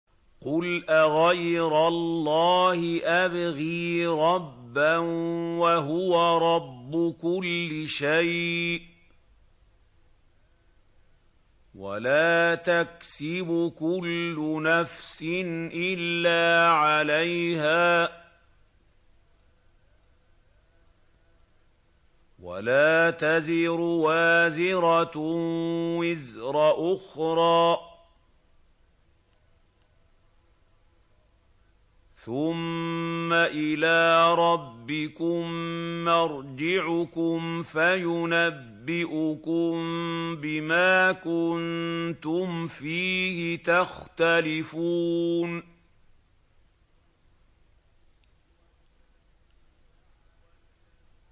قُلْ أَغَيْرَ اللَّهِ أَبْغِي رَبًّا وَهُوَ رَبُّ كُلِّ شَيْءٍ ۚ وَلَا تَكْسِبُ كُلُّ نَفْسٍ إِلَّا عَلَيْهَا ۚ وَلَا تَزِرُ وَازِرَةٌ وِزْرَ أُخْرَىٰ ۚ ثُمَّ إِلَىٰ رَبِّكُم مَّرْجِعُكُمْ فَيُنَبِّئُكُم بِمَا كُنتُمْ فِيهِ تَخْتَلِفُونَ